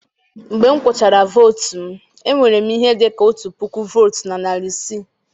Mgbe m gụchara votu m, enwere m ihe dị ka otu puku votes na narị isii.